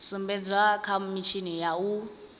sumbedzwa kha mitshini ya u